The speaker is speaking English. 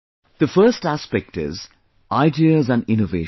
The first aspect is Ideas and Innovation